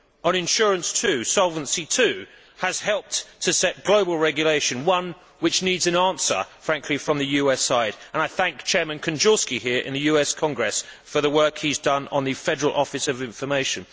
On insurance, too, Solvency II has helped to set global regulation one which needs an answer, frankly, from the US side and I thank Chairman Kanjorski in the US Congress for the work he has done on the Federal Office of Information.